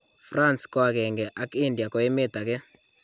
France ko agenge ak India ko emeet agee